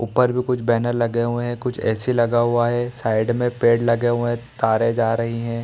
ऊपर भी कुछ बैनर लगे हुए हैं कुछ ए.सी. लगा हुआ है। साइड में पेड़ लगे हुए हैं। तारें जा रही हैं।